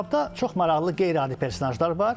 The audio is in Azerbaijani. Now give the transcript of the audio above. Kitabda çox maraqlı qeyri-adi personaşlar var.